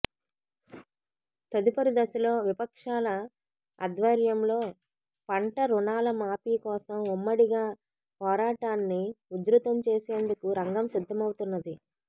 తదుపరి దశలో విపక్షాల ఆధ్వర్యంలో పంట రుణాల మాఫీ కోసం ఉమ్మడిగా పోరాటాన్ని ఉధ్రుతం చేసేందుకు రంగం సిద్ధమవుతున్నది